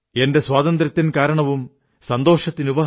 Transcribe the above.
ശീശ് ഝുകാഏം പർവ്വത് അംബർ ഔർ ഭാരത് കാ ചമൻ തുമ്ഹേം